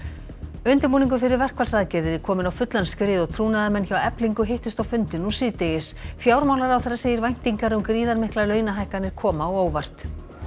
undirbúningur fyrir verkfallsaðgerðir er kominn á fullan skrið og trúnaðarmenn hjá Eflingu hittust á fundi nú síðdegis fjármálaráðherra segir væntingar um gríðarmiklar launahækkanir koma á óvart